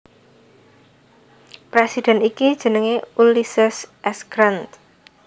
Presiden iki jenengé Ulysses S Grant